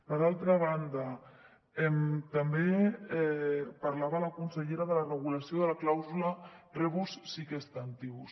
per altra banda també parlava la consellera de la regulació de la clàusula rebus sic stantibus